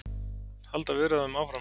Halda viðræðum áfram